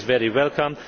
this is very welcome.